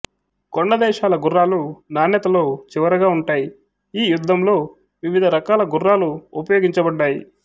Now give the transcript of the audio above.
కొండ దేశాల గుర్రాలు నాణ్యతలో చివరగా ఉంటాయి ఈ యుద్ధంలో వివిధ రకాల గుర్రాలు ఉపయోగించబడ్డాయి